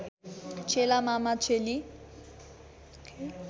चेला मामा चेली